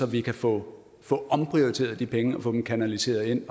vi kan få få omprioriteret de penge og få dem kanaliseret ind